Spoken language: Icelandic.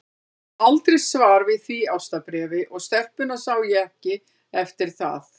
Ég fékk aldrei svar við því ástarbréfi, og stelpuna sá ég ekki eftir það.